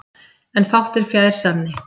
en fátt er fjær sanni